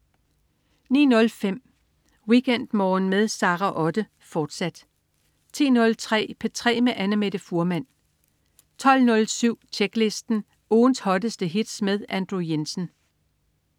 09.05 WeekendMorgen med Sara Otte, fortsat 10.03 P3 med Annamette Fuhrmann 12.07 Tjeklisten. Ugens hotteste hits med Andrew Jensen